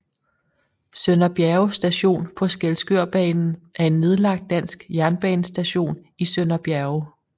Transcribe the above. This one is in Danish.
Sønder Bjerge Station på Skælskørbanen er en nedlagt dansk jernbanestation i Sønder Bjerge